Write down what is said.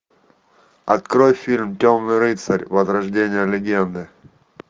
открой фильм темный рыцарь возрождение легенды